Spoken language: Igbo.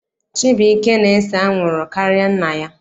Chibuike na-ese anwụrụ karịa nna ya.